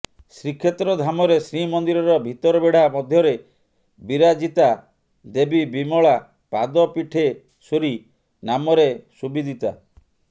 ଶ୍ରୀକ୍ଷେତ୍ର ଧାମରେ ଶ୍ରୀମନ୍ଦିରର ଭିତରବେଢା ମଧ୍ୟରେ ବିରାଜିତା ଦେବୀ ବିମଳା ପାଦପୀଠେଶ୍ବରୀ ନାମରେ ସୁବିଦିତା